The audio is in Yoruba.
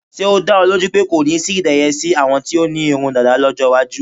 Ṣé́ ó dá ọ lójú pé kò ní sí ìdẹyẹsí àwọn tí wọ́n ní irun dàda lọ́jọ́ iwájú.